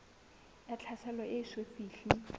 ya tlhaselo e eso fihle